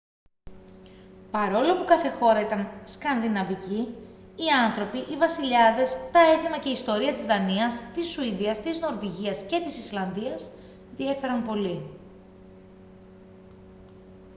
παρόλο που κάθε χώρα ήταν «σκανδιναβική» οι άνθρωποι οι βασιλιάδες τα έθιμα και η ιστορία της δανίας της σουηδίας της νορβηγίας και της ισλανδίας διέφεραν πολύ